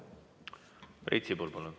Priit Sibul, palun!